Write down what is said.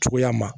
Cogoya ma